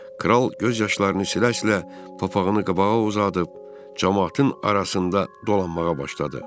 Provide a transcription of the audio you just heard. Kral göz yaşlarını silə-silə papağını qabağa uzadıb camaatın arasında dolanmağa başladı.